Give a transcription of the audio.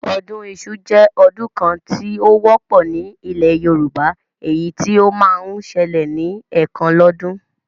Ọdún iṣu jẹ́ ọdún kan tí ó wọ́pọ̀ ní ilẹ̀ Yorùbá, èyí tí ó máa ń ṣẹlẹ̀ ní ẹ̀kan lọ́dún